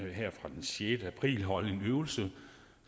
her fra den sjette april vil holde en øvelse